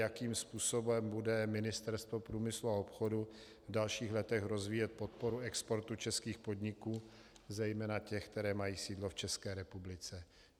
Jakým způsobem bude Ministerstvo průmyslu a obchodu v dalších letech rozvíjet podporu exportu českých podniků, zejména těch, které mají sídlo v České republice?